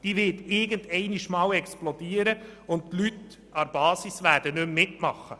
Sie wird irgendwann einmal explodieren und die Leute an der Basis werden nicht mehr mitmachen.